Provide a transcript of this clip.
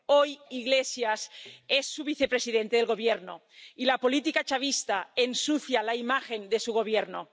Hoy, Iglesias es el vicepresidente de su gobierno y la política chavista ensucia la imagen de su gobierno.